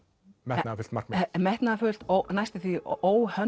metnaðarfullt markmið metnaðarfullt og næstum því